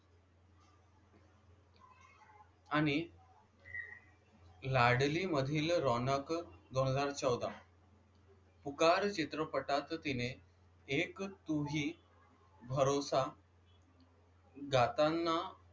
आणि लाडली मधील रौनक दोन हजार चौदा पुकार चित्रपटात तिने एक तू ही भरोसा गाताना,